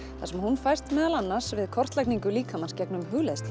þar sem hún fæst meðal annars við kortlagningu líkamans gegnum hugleiðslu